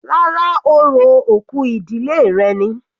Rárá, orò òkú ìdílé rẹ̀ ni.